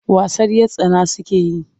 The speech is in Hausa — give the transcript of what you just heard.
Wasan 'yar tsana suke yi.